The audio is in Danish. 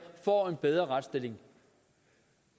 får en bedre retsstilling